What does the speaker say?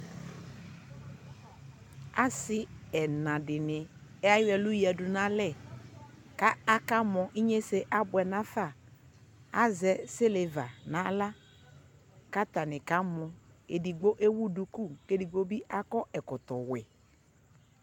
asii ɛna dini ayɔ ɛlʋ yadʋ nʋ alɛ kʋ aka mɔ, inyɛsɛ abʋɛ nʋ aƒa, azɛ silver nʋ ala kʋ atani kamɔ, ɛdigbɔ ɛwʋ dʋkʋ kʋ ɛdigbɔ bi akɔ ɛkɔtɔ wɛ